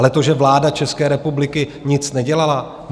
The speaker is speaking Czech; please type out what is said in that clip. Ale to, že vláda České republiky nic nedělala?